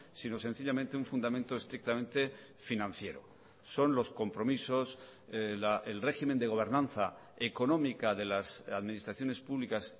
sino sencillamente un fundamento estrictamente financiero son los compromisos el régimen de gobernanza económica de las administraciones públicas